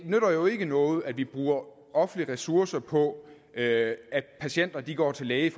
nytter jo ikke noget at vi bruger offentlige ressourcer på at at patienter går til lægen